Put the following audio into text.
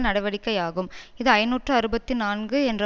நடவடிக்கையாகும் இது ஐநூற்று அறுபது நான்கு என்ற